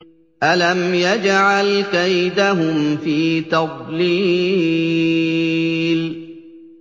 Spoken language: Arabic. أَلَمْ يَجْعَلْ كَيْدَهُمْ فِي تَضْلِيلٍ